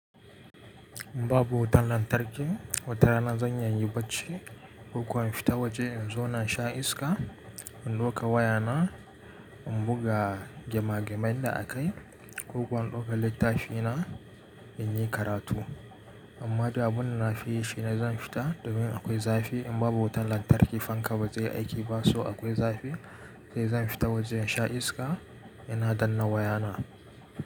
In babu wutan lantarki watarana zan iya in yi bacci. Ko kuwa in fita waje in zauna in sha iska, in ɗauka wayana in buga gema gemai da a kai ko kuwa in ɗauka littafina in yi karatu. Amma da abun da na fi yi shine zan fita domin akwai zafi. In babu wutan lantarki fanka ba zai aiki ba so akwai zafi. Sai zan fita waje in sha iska yana danna wayana.